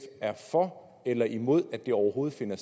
er for eller imod at det overhovedet finder